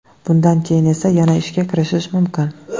Bundan keyin esa yana ishga kirishish mumkin.